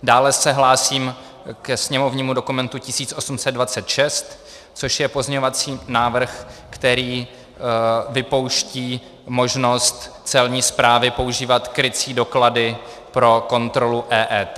Dále se hlásím ke sněmovnímu dokumentu 1826, což je pozměňovací návrh, který vypouští možnost Celní správy používat krycí doklady pro kontrolu EET.